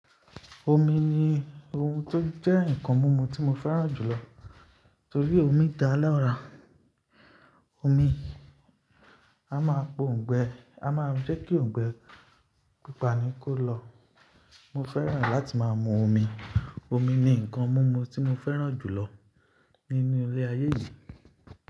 Omi ni ohun tó jẹ́ nǹkan mumu tí mo fẹ́ràn jùlọ torí omi dá lára, omi a máa pa oǹgbẹ, a máa ń jẹ́ kí òǹgbẹ pípá ni kó lọ. Mo fẹ́ràn láti máa mu omi, omi ni nǹkan mumu tí mo fẹ́ràn jùlọ nínú ilé ayé yìí.